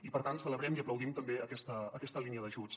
i per tant celebrem i aplaudim també aquesta línia d’ajuts